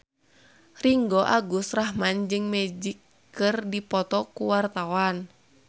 Ringgo Agus Rahman jeung Magic keur dipoto ku wartawan